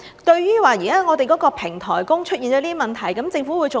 對於我們現在的平台工出現了這些問題，政府會做甚麼？